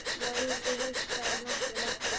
Já, þú veist það náttúrlega ekki.